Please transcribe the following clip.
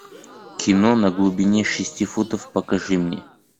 кино на глубине шести футов покажи мне